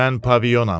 Mən Paviyonam.